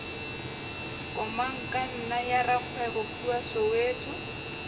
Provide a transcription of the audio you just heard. komangkanna ya rakgwebo kua soweto